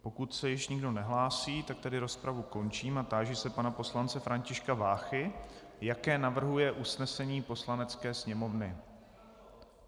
Pokud se již nikdo nehlásí, tak tedy rozpravu končím a táži se pana poslance Františka Váchy, jaké navrhuje usnesení Poslanecké sněmovny.